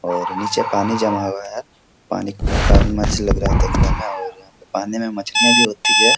और नीचे पानी जमा हुआ है पानी मस्त लग रहा है दखने में और पानी मे मछलियाँ भी होती है ।